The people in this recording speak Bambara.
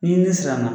N'i siranna